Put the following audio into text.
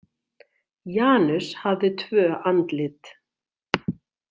Janus hafði tvö andlit.